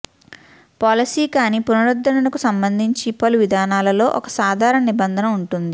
policy కాని పునరుద్ధరణకు సంబంధించి పలు విధానాలలో ఒక సాధారణ నిబంధన ఉంటుంది